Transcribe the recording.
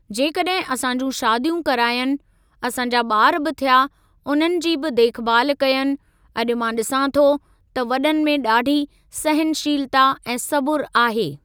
जेकॾहिं असां जूं शादियूं करायनि, असां जा ॿार बि थिया उननि जी बि देखभाल कयनि अॼु मां ॾिसां थो त वॾनि में ॾाढी सहनशीलता ऐं सबुरु आहे।